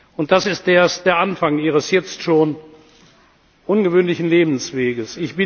Und das ist erst der Anfang Ihres jetzt schon ungewöhnlichen Lebenswegs.